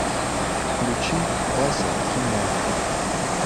включи вася кимо